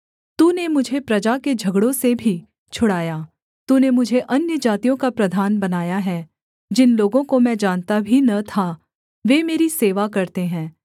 तूने मुझे प्रजा के झगड़ों से भी छुड़ाया तूने मुझे अन्यजातियों का प्रधान बनाया है जिन लोगों को मैं जानता भी न था वे मेरी सेवा करते है